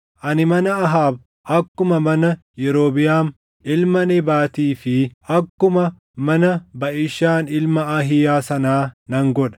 Ani mana Ahaab akkuma mana Yerobiʼaam ilma Nebaatii fi akkuma mana Baʼishaan ilma Ahiiyaa sanaa nan godha.